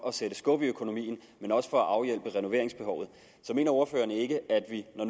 at sætte skub i økonomien og også for at afhjælpe renoveringsbehovet så mener ordføreren ikke at vi når